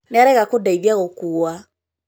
nĩarega kũndeithia gũkuua